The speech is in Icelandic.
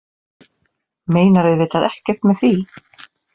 Meinar auðvitað ekkert með því.